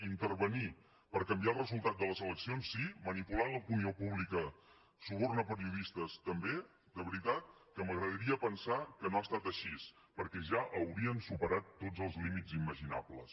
intervenir per canviar el resultat de les eleccions sí manipulant l’opinió pública subornar periodistes també de veritat que m’agradaria pensar que no ha estat així perquè ja haurien superat tots els límits imaginables